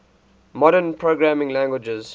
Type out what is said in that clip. modern programming languages